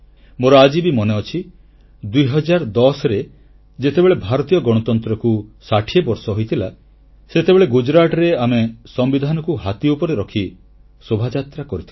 ମୋର ଆଜି ବି ମନେଅଛି 2010ରେ ଯେତେବେଳେ ଭାରତୀୟ ଗଣତନ୍ତ୍ରକୁ 60 ବର୍ଷ ହୋଇଥିଲା ସେତେବେଳେ ଗୁଜରାଟରେ ଆମେ ସମ୍ବିଧାନକୁ ହାତୀ ଉପରେ ରଖି ଶୋଭାଯାତ୍ରା କରିଥିଲୁ